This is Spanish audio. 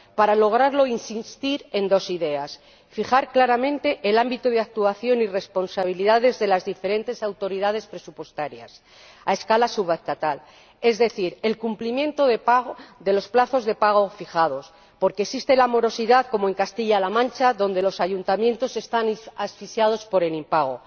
Para lograrlo, debemos insistir en dos ideas en primer lugar, fijar claramente el ámbito de actuación y responsabilidades de las diferentes autoridades presupuestarias a escala subestatal, es decir, el cumplimiento de los plazos de pago fijados, porque existe la morosidad, como en Castilla La Mancha, donde los ayuntamientos están asfixiados por el impago.